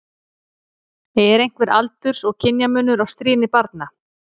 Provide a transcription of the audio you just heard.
Er einhver aldurs- og kynjamunur á stríðni barna?